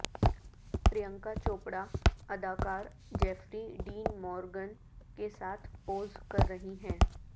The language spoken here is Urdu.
پرینکا چوپڑہ اداکار جیفری ڈین مورگن کے ساتھ پوز کر رہی ہیں